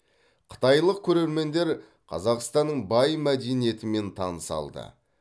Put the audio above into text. қытайлық көрермендер қазақстанның бай мәдениетімен таныса алды